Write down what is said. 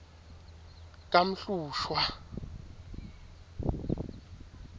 kamhlushwa